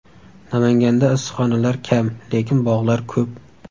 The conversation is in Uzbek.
Namanganda issiqxonalar kam, lekin bog‘lar ko‘p.